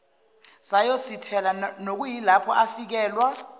sayosithela nokuyilapho afikelwa